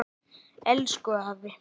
Elsku afi.